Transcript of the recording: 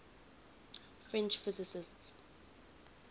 french physicists